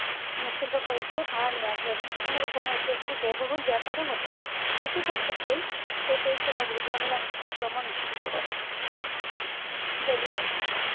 নিশ্চিন্ত করে যে ভাড়া ন্যায্য এবং কখনো কখনো এটি একটি ব্যয়বহুল ব্যাপারও হতে পারে। বেশিরভাগ ক্ষেত্রেই এই পরিষেবা গুলি ঝামেলা মুক্ত ভ্রমণ নিশ্চিত করে । দিল্লি metro